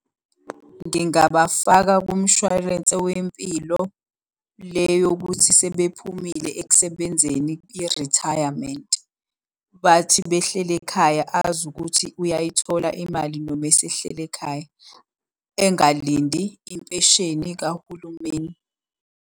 Ngingabafaka kumshwarense wempilo, le yokuthi sebephumile ekusebenzeni irithayamenti. Bathi behleli ekhaya azi ukuthi uyayithola imali noma esehleli ekhaya. Engalindi impesheni kahulumeni.